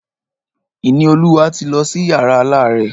Ìníolúwa ti lọ sí yàrá alárẹ̀.